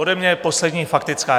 Ode mě poslední faktická.